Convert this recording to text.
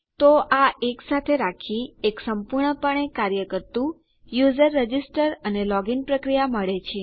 તો આ એકસાથે રાખી એક સંપૂર્ણપણે કાર્ય કરતું યુઝર રજીસ્ટર અને લોગીન પ્રક્રિયા મળે છે